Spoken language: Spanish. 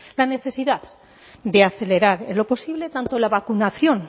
la necesidad de acelerar en lo posible tanto la vacunación